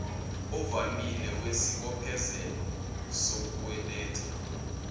ovamile wesibophezelo sokukweleta